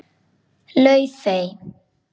Laufey